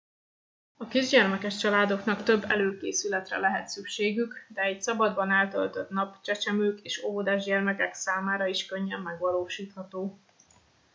a kisgyermekes családoknak több előkészületre lehet szükségük de egy szabadban eltöltött nap csecsemők és óvodás gyermekek számára is könnyedén megvalósítható